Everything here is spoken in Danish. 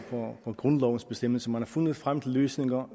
på grundlovens bestemmelser man har fundet frem til løsninger